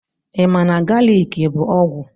Ịma na galiki bụ ọgwụ?